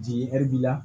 Di ɛri b'i la